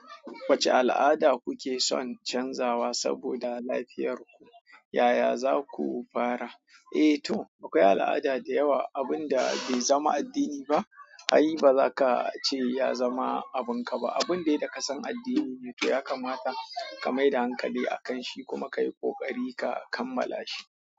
Wacce al'ada kuke son canzawa saboda lafiyar ku, yaya za ku fara? Eh to, akwai al'ada da yawa abun da bai zama addini ba, ai ba za ka ce ya zama abin ka ba. Abun dai da ka san addini ne, to ya kamata ka mai da hankali a kan shi kuma ka yi ƙoƙari ka kammala shi.